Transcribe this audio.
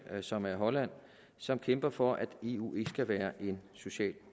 som er holland som kæmper for at eu ikke skal være en social